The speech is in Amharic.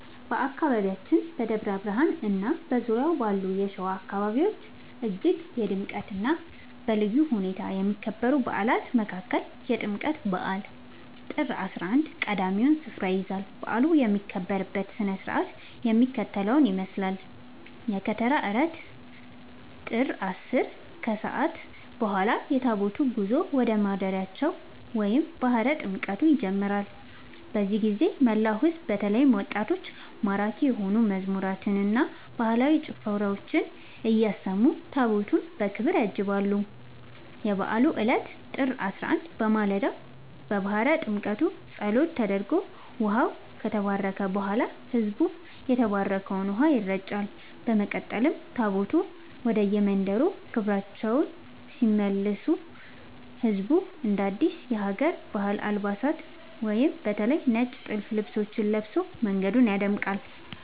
በአካባቢያችን በደብረ ብርሃንና በዙሪያው ባሉ የሸዋ አካባቢዎች እጅግ በድምቀትና በልዩ ሁኔታ ከሚከበሩ በዓላት መካከል የጥምቀት በዓል (ጥር 11) ቀዳሚውን ስፍራ ይይዛል። በዓሉ የሚከበርበት ሥነ ሥርዓት የሚከተለውን ይመስላል፦ የከተራ ዕለት (ጥር 10)፦ ከሰዓት በኋላ የታቦታቱ ጉዞ ወደ ማደሪያቸው (ባሕረ ጥምቀቱ) ይጀምራል። በዚህ ጊዜ መላው ሕዝብ በተለይም ወጣቶች ማራኪ የሆኑ መዝሙራትንና ባህላዊ ጭፈራዎችን እያሰሙ ታቦታቱን በክብር ያጅባሉ። የበዓሉ ዕለት (ጥር 11)፦ በማለዳው የባሕረ ጥምቀቱ ጸሎት ተደርጎ ውኃው ከተባረከ በኋላ፣ ሕዝቡ በተባረከው ውኃ ይረጫል። በመቀጠል ታቦታቱ ወደየመንበረ ክብራቸው ሲመለሱ ሕዝቡ አዳዲስ የሀገር ባህል አልባሳትን (በተለይ ነጭ ጥልፍ ልብሶችን) ለብሶ መንገዱን ያደምቃል።